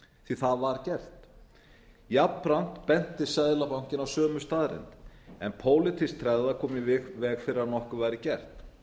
því það var gert jafnframt benti seðlabankinn á sömu staðreynd en pólitísk tregða kom í veg fyrir að nokkuð væri gert